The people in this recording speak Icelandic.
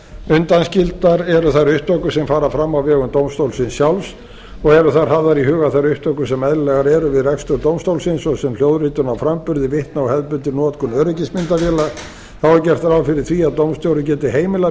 undanskildar eru þær upptökur sem fara fram á vegum dómstólsins sjálfs og eru þá hafðar í huga þær upptökur sem eðlilegar eru við rekstur dómstólsins svo sem hljóðritun og framburður vitna á hefðbundin notkun öryggismyndavéla þá er gert ráð fyrir því að dómstjóri geti heimilað